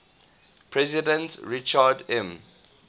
president richard m